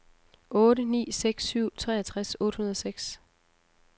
otte ni seks syv treogtres otte hundrede og seks